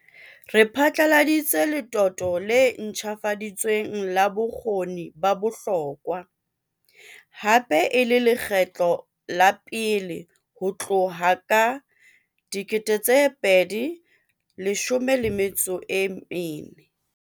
Re phatlaladitse letoto le ntjhafaditsweng la Bokgoni ba Bohlokwa, hape e le lekgetlo la pele ho tloha ka 2014.